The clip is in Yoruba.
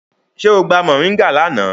Ṣe o gba mọringá lana?